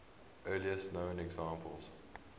earliest known examples